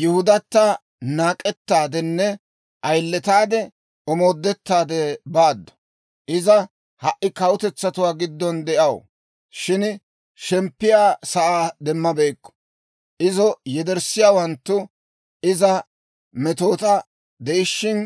Yihudata naak'ettaadenne ayiletaade omoodettaade baaddu. Iza ha"i kawutetsatuwaa giddon de'aw; shin shemppiyaa sa'aa demmabeykku. Izo yedersseeddawanttu iza metoota de'ishshin